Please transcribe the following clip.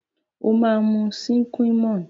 Waa mu Sin Qua non